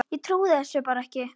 Ég trúði þessu bara ekki.